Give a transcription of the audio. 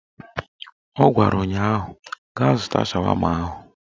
Ọ gwara ụnyaahụ "Gaa zụta shawama ahụ"